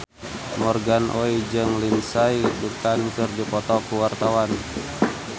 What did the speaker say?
Morgan Oey jeung Lindsay Ducan keur dipoto ku wartawan